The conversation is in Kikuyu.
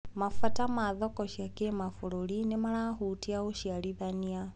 Mabata ma thoko cia kĩmabũrũri nĩmarahũtia ũciarithania.